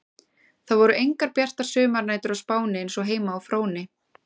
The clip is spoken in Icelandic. Það voru engar bjartar sumarnætur á Spáni eins og heima á Fróni.